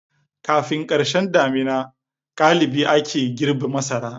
Kafin karshen damina galibi ake girbe masara.